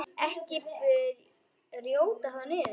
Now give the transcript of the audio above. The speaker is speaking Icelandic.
Ekki brjóta þá niður.